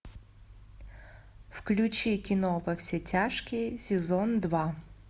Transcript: включи кино во все тяжкие сезон два